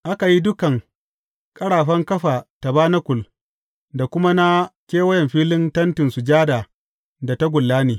Aka yi dukan ƙarafan kafa tabanakul da kuma na kewayen filin Tentin Sujada da tagulla ne.